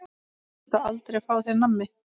Máttu aldrei fá þér nammi?